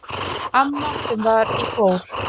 Amma sem var í kór.